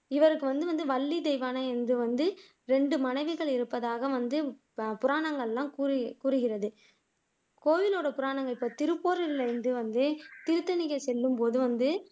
இவருக்கு வந்து வள்ளி தெய்வானை வந்து ரெண்டு மனைவிகள் இருப்பதாக வந்து புராணங்கள் எல்லாம் கூறுகிறது கோவிலோட புராணங்கள்இப்போ திருப்பூர் இல்ல இங்க வந்து திருத்தணிக்கு செல்லுபோது வந்து